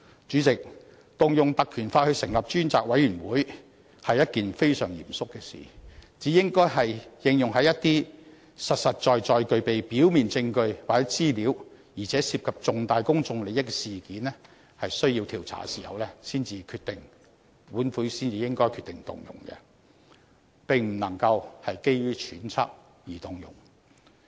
主席，引用《條例》成立專責委員會是一件非常嚴肅的事，只有在一些實實在在具備表面證據或資料，而且涉及重大公眾利益的事件需要調查的時候，本會才應該決定動用該條例，而並不能夠基於揣測而動用。